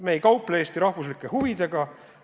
Me ei kauple Eesti rahvuslike huvidega.